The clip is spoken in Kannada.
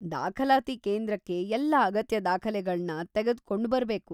ದಾಖಲಾತಿ ಕೇಂದ್ರಕ್ಕೆ ಎಲ್ಲ ಅಗತ್ಯ ದಾಖಲೆಗಳನ್ನ ತೆಗೆದ್ಕೊಂಡ್ ಬರ್ಬೇಕು.